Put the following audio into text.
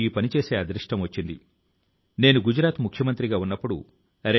వందే మాతరమ్ లో ఇమిడిపోయి ఉన్న భావం మనలో గర్వాన్ని ఉత్సాహాన్ని నింపివేస్తుంది